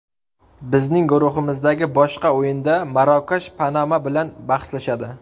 Bizning guruhimizdagi boshqa o‘yinda Marokash Panama bilan bahslashadi.